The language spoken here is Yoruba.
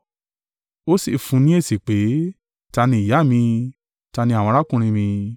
Ó sì fún ni èsì pé, “Ta ni ìyá mi? Ta ni àwọn arákùnrin mi?”